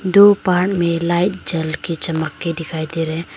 दो पार्ट में लाइट जल की चमक के दिखाई दे रहे हैं।